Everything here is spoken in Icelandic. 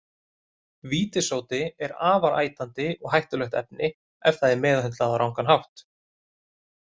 Vítissódi er afar ætandi og hættulegt efni ef það er meðhöndlað á rangan hátt.